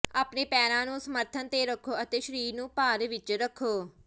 ਆਪਣੇ ਪੈਰਾਂ ਨੂੰ ਸਮਰਥਨ ਤੇ ਰੱਖੋ ਅਤੇ ਸਰੀਰ ਨੂੰ ਭਾਰ ਵਿੱਚ ਰੱਖੋ